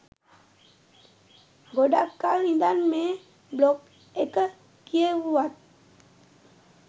ගොඩක් කල් ඉඳන් මේ බ්ලොග් එක කියෙව්වත්